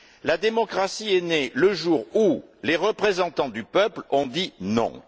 La démocratie est née le jour où les représentants du peuple ont dit non!